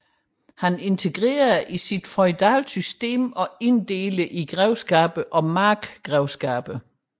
Han integrerede det i sit feudale system og inddelte det i grevskaber og markgrevskaber